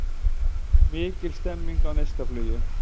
Mikil stemming á Neistaflugi